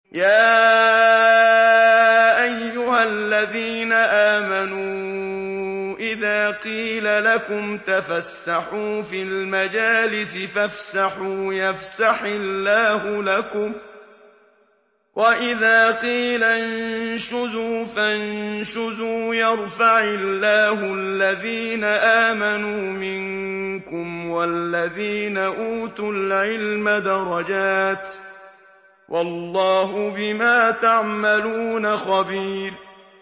يَا أَيُّهَا الَّذِينَ آمَنُوا إِذَا قِيلَ لَكُمْ تَفَسَّحُوا فِي الْمَجَالِسِ فَافْسَحُوا يَفْسَحِ اللَّهُ لَكُمْ ۖ وَإِذَا قِيلَ انشُزُوا فَانشُزُوا يَرْفَعِ اللَّهُ الَّذِينَ آمَنُوا مِنكُمْ وَالَّذِينَ أُوتُوا الْعِلْمَ دَرَجَاتٍ ۚ وَاللَّهُ بِمَا تَعْمَلُونَ خَبِيرٌ